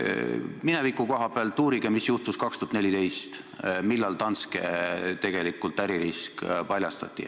Mineviku koha pealt uurige, mis juhtus aastal 2014, kui Danske äririsk tegelikult paljastati.